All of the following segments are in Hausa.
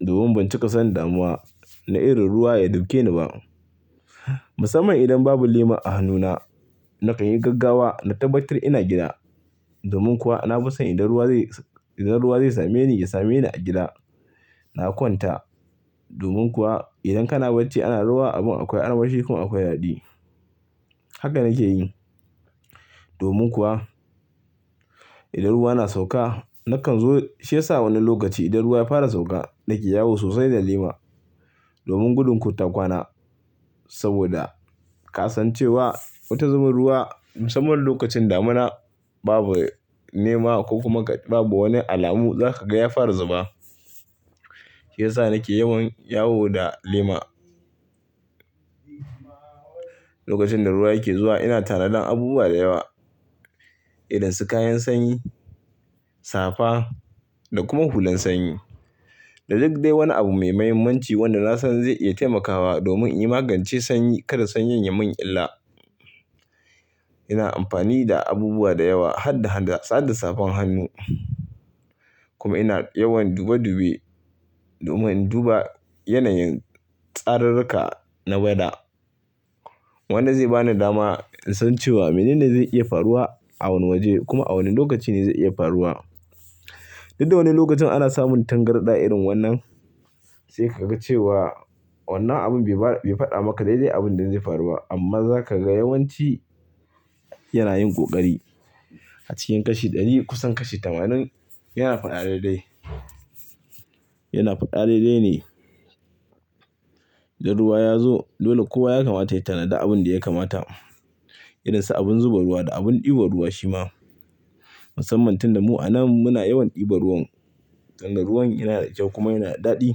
domin ban cika san damuwa na irin ruwa ya dukeni ba. Musamman idan babu lema a hannuna, na kan yi gaggawa na tabbatar ina gida. Domin kuwa na fison idan ruwa zai same ni, ya same ni a gida. Na kwanta domin kuwa idan kana bacci ana ruwa abun akwai armashi kuma akwai daɗi. Haka na ke yi. Domin kuwa idan ruwa na sauka, na kan zo shiya sa wani lokaci idan ruwa ya fara sauka na ke yawo sosai da lema domin gudun kota kwana. Saboda kasancewa wata zubin ruwa musamman lokacin damuna babu nema ko kuma babu wani alamu zaka ga ya fara zuba. Shiyasa na ke yawan yawo da lema. Lokacin da ruwa yake zuwa ina tanadan abubuwa da yawa irin su kayan sanyi, safa da kuma hulan sanyi. Da duk dai wani abu mai muhimmanci wanda na san zai iya taimakawa domin in magance sanyi kada sanyi ya mun illa. Ina amfani da abubuwa da yawa har da safan hannu. Kuma ina yawan dube dube domin duba yanayin tsaruruka na weather. Wannan zai bani dama in san cewa mene ne zai iya faruwa a wane waje kuma a wane lokaci ne zai iya faruwa. Duk da wane lokacin ana samun tangarɗa irin wannan, sai ka ga cewa wannan abun bai faɗa maka daidai abin da zai faruwa amma za ka ga yawanci yana yin ƙoƙari. A cikin kashi ɗari kusan kashi tamanin yana faɗa daidai. Yana faɗa daidai ne. Idan ruwa ya zo dole kowa ya kamata ya tanada abin da ya kamata irin su abin zuba ruwa da abin ɗiba ruwa shi ma. Musamman tun da mu a nan muna yawan ɗiba ruwan danga ruwan yana da kyau kuma yana da daɗi.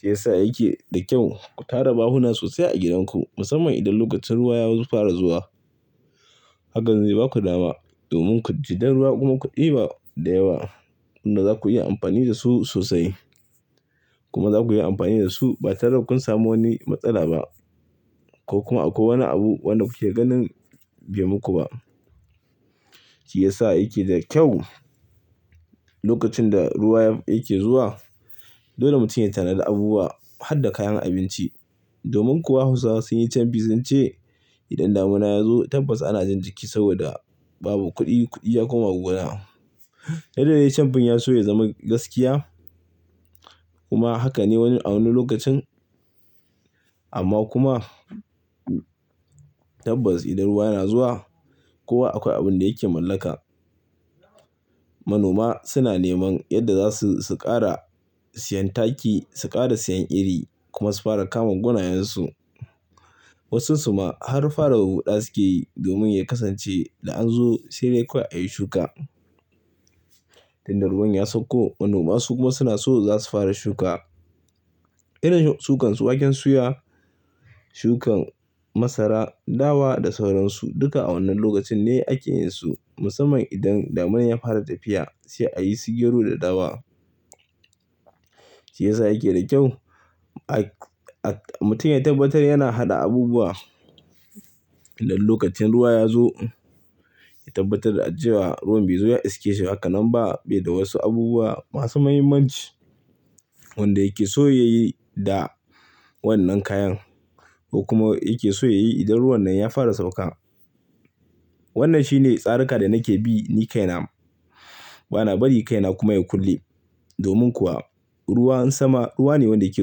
Shiyasa yake da kyau ku tara bahuna sosai a gidanku musamman idan lokacin ruwa ya fara zuwa. Haka zai baku dama domin ku ji da ruwa kuma ku ɗiba da yawa wanda za ku iya amfani da su sosai. Kuma za ku iya amfani da su ba tare da kun samu wani matsala ba ko kuma akwai wani abu wanda kuke ganin bai muku ba. Shiyasa yake da kyau lokacin da ruwa yake zuwa, dole mutum ya tanada abubuwa har da kayan abinci. Domin kuwa Hausawa sun yi camfi sun ce idan damuna ya zo tabbas ana jin jiki saboda babu kuɗi, kuɗi ya koma gona. Duk da dai camfin ya so ya zama gaskiya kuma haka ne a wani lokacin. Amma kuma tabbas idan ruwa na zuwa, kowa akwai abin da yake mallaka. Manoma suna neman yadda za su ƙara siyan taki, su ƙara siyan iri kuma su fara kamun gonayensu. Wasu su ma har fara huda suke yi domin ya kasance da an zo sai dai kawai a yi shuka. Tunda ruwan ya sauko manoma su kuma suna so za su fara shuka. Irin shukan su waken suya, shukan masara, dawa da sauransu duka a wannan lokacin ne ake yin su musamman idan damunar ya fara tafiya sai a yi su gero da dawa. Shiyasa yake da kyau mutum ya tabbatar yana haɗa abubuwa idan lokacin ruwa ya zo. Ya tabbatar da cewa ruwan bai zo ya iske shi haka nan ba bai da wasu abubuwa masu muhimmanci wanda yake so ya yi da wannan kayan ko kuma yake so ya yi idan ruwan nan ya fara sauka. Wannan shine tsararka da nake bi ni kaina. Bana bari kaina kuma ya kulle. Domin kuwa ruwan sama ruwa ne wanda yake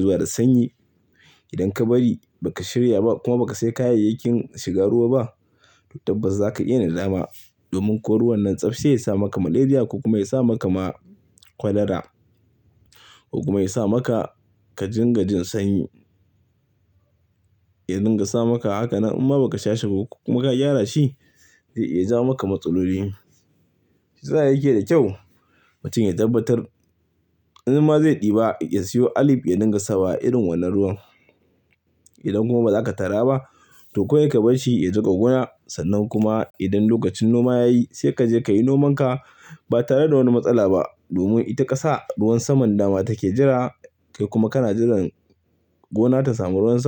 zuwa da sanyi. Idan ka bari ba ka shirya ba kuma ba ka sai kayayyakin shiga ruwa ba, to tabbas za ka iya nadama. Domin ko ruwan nan tsaf sai ya sa maka malaria ko kuma ya sa maka ma cholera ko kuma ya sa maka ka jinga jin sanyi. Ya dinga sa maka, haka nan in ba ka sha shi ko kuma ka gyara shi zai iya ja maka matsaloli. Shiyasa yake da kyau mutum ya tabbatar in ma zai ɗiba ya siyo alif ya dinga sawa irin wannan ruwan. Idan kuma ba za ka tara ba to kawai ka bar shi ya zuba gona sannan kuma idan lokacin noma ya yi sai ka je ka yi nomanka ba tare da wani matsala ba. Domin ita ƙasa ruwan saman dama take jira kai kuma kana jiran gona ta samu ruwan sama.